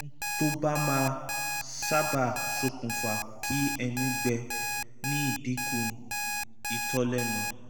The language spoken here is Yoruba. ohu tó máa ń sábà ṣokùnfà kí ẹnu gbẹ ni ìdínkù itọ́ lẹ́nu